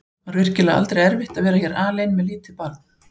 Var virkilega aldrei erfitt að vera hér alein með lítið barn?